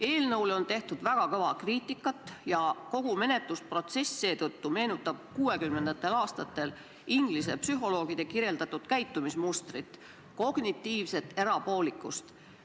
Eelnõule on tehtud väga kõva kriitikat ja seetõttu meenutab kogu menetlusprotsess 1960. aastatel inglise psühholoogide kirjeldatud käitumismustrit – kognitiivset erapoolikust.